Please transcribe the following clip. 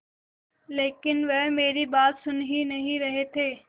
लेकिन वह मेरी बात सुन ही नहीं रहे थे